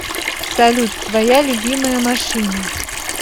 салют твоя любимая машина